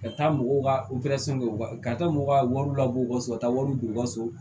Ka taa mɔgɔw ka kɛ u ka ka taa mɔgɔw ka wariw labɔ u ka so ka taa wariw don u ka so